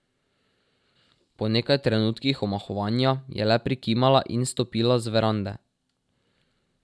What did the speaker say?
Po nekaj trenutkih omahovanja je le prikimala in stopila z verande.